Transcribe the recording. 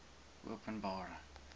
openbare